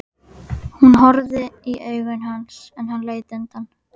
Hún horfði í augu hans en hann leit undan.